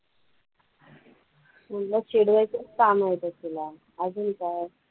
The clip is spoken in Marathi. म्हंटलं चिडवायचचं कामं होतं तुला अजून काय.